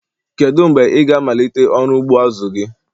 Kedu mgbe ị ga-amalite ọrụ ugbo azu gi?